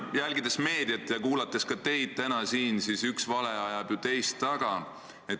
Jälgides meediat ja kuulates ka teid täna siin, on näha, et üks vale ajab ju teist taga.